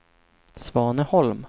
Svaneholm